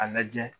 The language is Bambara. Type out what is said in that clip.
A lajɛ